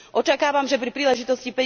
Očakávam, že pri príležitosti